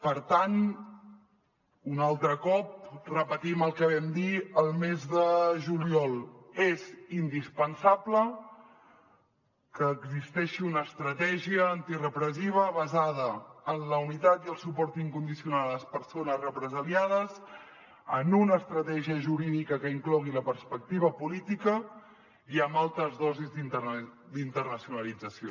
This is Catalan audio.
per tant un altre cop repetim el que vam dir el mes de juliol és indispensable que existeixi una estratègia antirepressiva basada en la unitat i el suport incondicional a les persones represaliades en una estratègia jurídica que inclogui la perspectiva política i amb altes dosis d’internacionalització